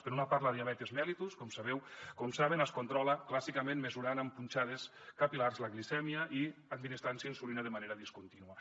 per una part la diabetis mellitus com sabeu com saben es controla clàssicament mesurant amb punxades capil·lars la glicèmia i administrant se insulina de manera discontínua